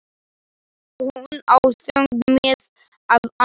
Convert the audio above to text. Hún á þungt með að anda.